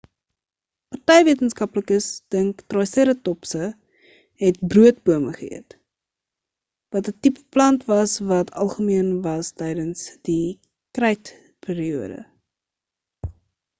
party wetenskaplikes dink triseratopse het broodbome geëet wat 'n tipe plant was wat algemeen was tydens die krytperiode